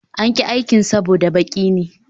An ƙi aikin saboda baki ne